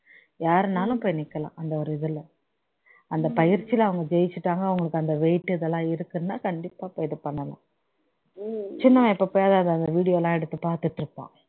யாருன்னாலும் போய் நிக்கலாம் அந்த ஒரு இதுல அந்த பயிற்சில அவங்க ஜெயிச்சிட்டாங்க அவங்களுக்கு அந்த weight அதெல்லாம் இருக்குன்னா கண்டிப்பா போய் இது பண்ணலாம் சின்னவன் எப்பப்பயாவது அவர் video எல்லாம் எடுத்து பாத்துட்டு இருப்பான்